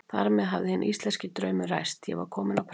Þar með hafði hinn íslenski draumur ræst: ég var kominn á prent.